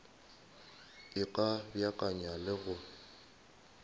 e ka beakanya le go